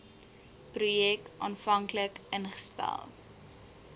projek aanvanklik ingestel